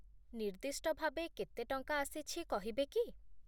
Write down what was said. ନିର୍ଦ୍ଦିଷ୍ଟ ଭାବେ କେତେ ଟଙ୍କା ଆସିଛି କହିବେ କି ?